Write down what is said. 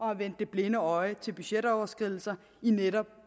have vendt det blinde øje til budgetoverskridelser i netop